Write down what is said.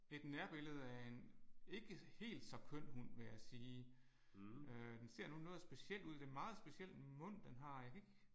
Et nærbillede af en ikke helt så køn hund vil jeg sige øh den ser nu noget speciel ud det er meget speciel mund den har jeg kan ikke